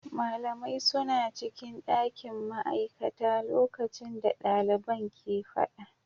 Malamai suna cikin dakin ma'aikata lokacin da daliban ke fada.